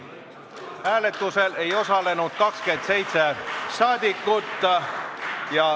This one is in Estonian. Hääletusel ei osalenud 27 saadikut.